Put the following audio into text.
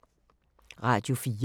Radio 4